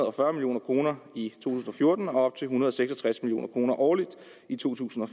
og fyrre million kroner i to tusind og fjorten og op til en hundrede og seks og tres million kroner årligt i to tusind